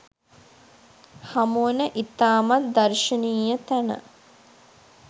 හමුවන ඉතාමත් දර්ශනීය තැන